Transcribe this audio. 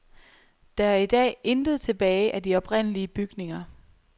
Der er i dag intet tilbage af de oprindelige bygninger.